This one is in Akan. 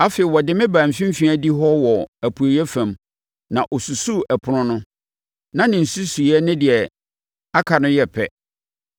Afei, ɔde me baa mfimfini adihɔ hɔ wɔ apueeɛ fam na ɔsusuu ɛpono no; na ne nsusuiɛ ne deɛ aka no yɛ pɛ.